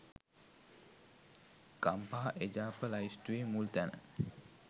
ගම්පහ එජාප ලැයිස්තුවේ මුල් තැන